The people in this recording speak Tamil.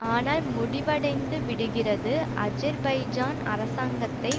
ஆனால் முடிவடைந்து விடுகிறது அஜெர்பைஜான் அரசாங்கத்தை